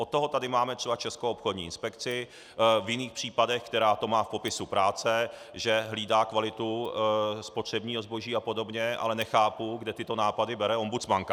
Od toho tady máme třeba Českou obchodní inspekci v jiných případech, která to má v popisu práce, že hlídá kvalitu spotřebního zboží a podobně, ale nechápu, kde tyto nápady bere ombudsmanka.